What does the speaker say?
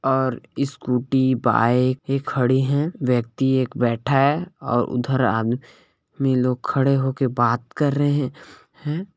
और scooty bike खड़ी है व्यक्ति एक बैठा हैऔर उधर आदमी लोग खड़े होकर बात कर रहे हैं।